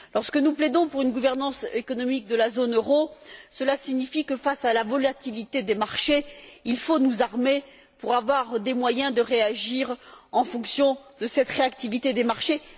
Lorsque nous plaidons pour une gouvernance économique de la zone euro, cela signifie que, face à la volatilité des marchés, il faut nous armer pour avoir les moyens de réagir en fonction de cette réactivité des marchés.